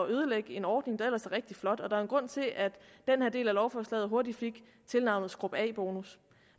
ødelægge en ordning der ellers er rigtig flot var en grund til at den her del af lovforslaget hurtigt fik tilnavnet skub af bonus